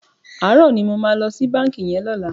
Aárò ni mó mà lò si bànkí yèn lòlá